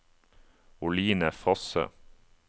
Oline Fosse